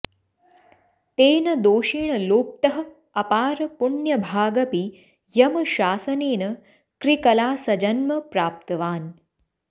तेन दोषेण लोप्तः अपार पुण्यभागपि यमशासनेन कृकलासजन्म प्राप्तवान्